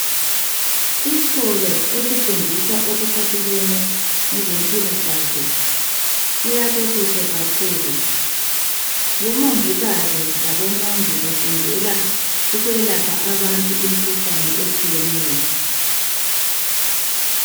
Isikolo esifundisa okupathelane lezempilakahle siyakhwe kuhle kakhulu. Omongikazi labomongi bafundela ukwelapha abantu imikhuhlane etshiyeneyo.